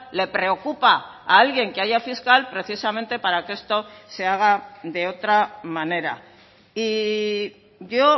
le preocupa a alguien que haya fiscal precisamente para que esto se haga de otra manera y yo